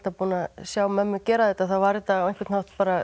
búin að sjá mömmu gera þetta var þetta á einhvern hátt